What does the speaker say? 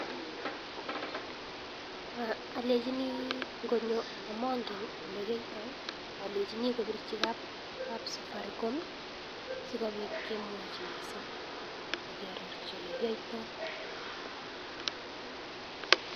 Alemchini ngonyo amongen ole kiyaitoi, alenchini koporchi kapsafaricom sikopit kemwochi mising ake arorchi ole kiyaitoi.